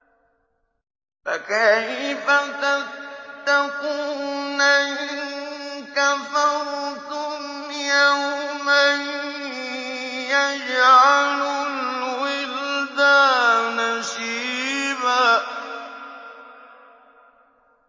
فَكَيْفَ تَتَّقُونَ إِن كَفَرْتُمْ يَوْمًا يَجْعَلُ الْوِلْدَانَ شِيبًا